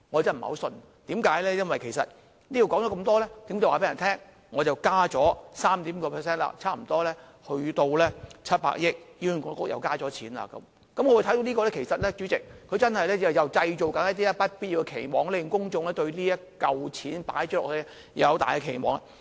因為說這麼多，其實是要告訴大家，政府已增加 3.5% 撥款，差不多達700億元，醫管局又獲增加撥款，主席，我看到的是政府又在製造不必要的期望，令公眾對投放的這筆錢抱有很大期望。